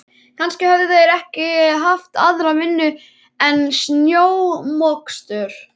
Kannski höfðu þeir ekki haft aðra vinnu en snjómokstur.